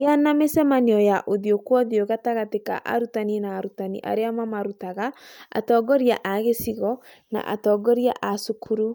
Gĩa na mĩcemanio ya ũthiũ kwa ũthiũ gatagatĩ ka arutani na arutani arĩa mamarutaga, atongoria a gĩcigo, na atongoria a cukuru